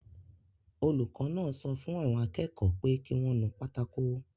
Olùkọ́ náà sọ fún àwọn akẹ́kọ̀ọ́ pé kí wọ́n nu pátákó